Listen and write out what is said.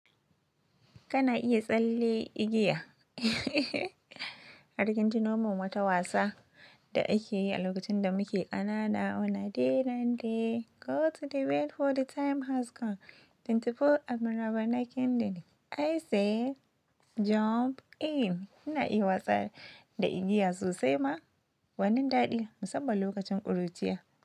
Kana iya tsalle igiya har kin tuno min wata wasa da ake yi a lokacin da muke kanana. Oh! Na day na day go to the well for the time has come, twenty-four and more are knocking then I say jump in. Kina iya wasa da igiya sosai ma gwanin daɗi musamman lokacin ƙuruciya.